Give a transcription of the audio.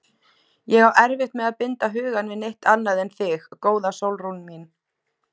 Ég á erfitt með að binda hugann við neitt annað en þig, góða Sólrún mín.